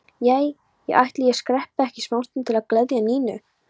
Já, ætli ég skreppi ekki smástund til að gleðja Nínu.